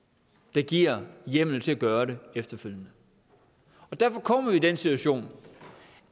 der giver hjemmel til at gøre det efterfølgende derfor kommer vi i den situation